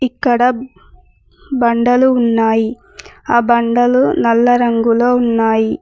ఇక్కడ బండలు ఉన్నాయి ఆ బండలు నల్ల రంగులో ఉన్నాయి.